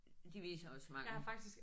De viser også mange